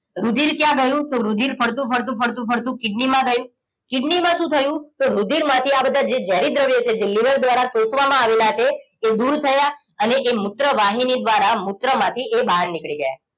રુધિર ક્યાં ગયું તો રુધિર ફરતું ફરતું ફરતું ફરતું કિડનીમાં ગયું કિડનીમાં શું થયું તો રુધિરમાંથી આ બધા જે ઝેરી દ્રવ્યો છે જે લીવર દ્વારા શોષવામાં આવેલા છે એ દૂર થયા અને એ મૂત્રવાહિની દ્વારા મૂત્રમાંથી એ બહાર નીકળી ગયા